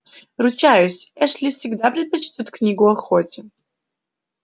ручаюсь эшли всегда предпочтёт книгу охоте